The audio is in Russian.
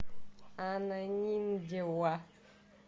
ананиндеуа